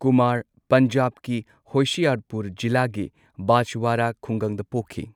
ꯀꯨꯃꯥꯔ ꯄꯟꯖꯥꯕꯀꯤ ꯍꯣꯁꯤꯌꯥꯔꯄꯨꯔ ꯖꯤꯂꯥꯒꯤ ꯕꯥꯖꯋꯥꯔꯥ ꯈꯨꯡꯒꯪꯗ ꯄꯣꯛꯈꯤ꯫